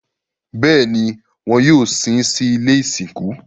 Bẹ́ẹ̀ni, wọn yóò sin sí ilé ìsìnkú